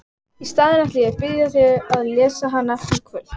Í staðinn ætla ég að biðja þig að lesa hana í kvöld!